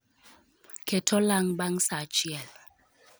Ket olang' bang' saa achiel